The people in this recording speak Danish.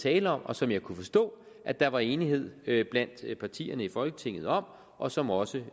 tale om og som jeg kunne forstå at der var enighed blandt partierne i folketinget om og som også